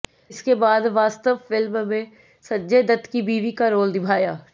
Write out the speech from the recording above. इसके बाद वास्तव फिल्म में संजय दत्त की बीवी का रोल निभाया